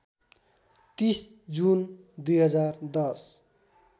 ३० जुन २०१०